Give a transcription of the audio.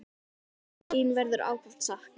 Þín verður ákaft saknað.